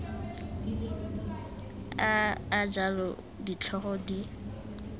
a a jalo ditlhogo di